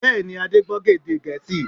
Bẹ́ẹ̀ni, Adé gbọ́ èdè Gẹ̀ẹ́sì